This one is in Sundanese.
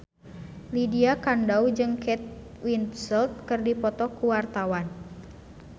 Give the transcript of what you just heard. Lydia Kandou jeung Kate Winslet keur dipoto ku wartawan